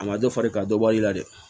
A ma dɔ fara i kan dɔ bɔli la dɛ